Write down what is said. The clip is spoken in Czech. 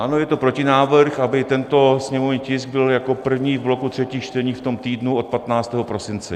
Ano, je to protinávrh, aby tento sněmovní tisk byl jako první v bloku třetích čtení v tom týdnu od 15. prosince.